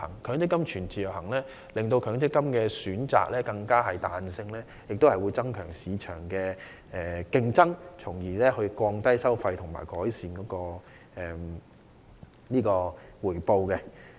強積金全自由行可增加強積金選擇的彈性及市場競爭，從而降低收費和改善回報。